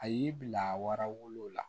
A y'i bila wara wolo la